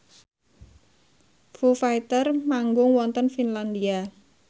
Foo Fighter manggung wonten Finlandia